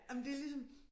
Jamen det ligesom